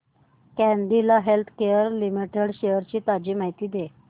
Cadila healthcare limited shares ची ताजी माहिती दे